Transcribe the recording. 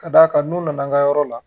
Ka d'a kan n'u nana an ka yɔrɔ la